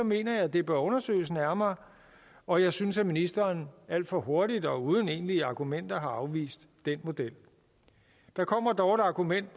mener jeg at det bør undersøges nærmere og jeg synes at ministeren alt for hurtigt og uden egentlige argumenter har afvist den model der kommer dog et argument